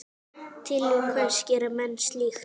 Til hvers gera menn slíkt?